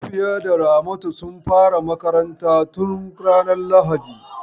Safiya da Ramatu sun fara makarantar tun ranar lahadi.